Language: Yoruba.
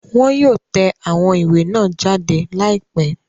Wọn yóò tẹ awón iwe nàa jade laipe